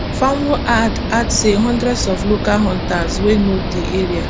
fanwo add add say hundreds of local hunters wey know di area